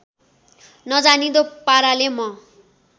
नजाँनिदो पाराले म